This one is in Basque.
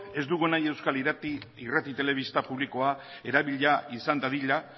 ez dugu nahi euskal irrati telebista publikoa erabilia izan dadila